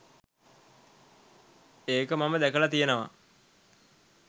ඒක මම දැකලා තියෙනවා.